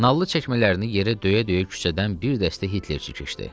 Nallı çəkmələrini yerə döyə-döyə küçədən bir dəstə Hitlerçi keçdi.